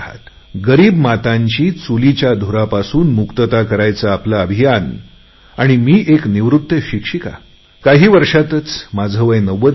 गरीब मातांची चुलीच्या धुरापासून मुक्तता करायचे आपले अभियान आणि मी एक निवृत्त शिक्षिका काही वर्षातच माझे वय नव्वद होईल